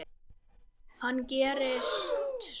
Hvað gerðist svo!?